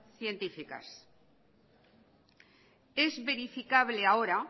científicas es verificable ahora